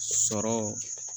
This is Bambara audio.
Sɔrɔ